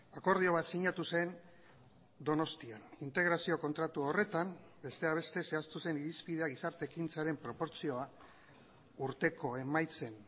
akordio bat sinatu zen donostian integrazio kontratu horretan besteak beste zehaztu zen irizpidea gizarte ekintzaren proportzioa urteko emaitzen